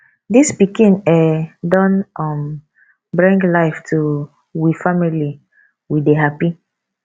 dis pikin um don um bring life to we family we dey hapi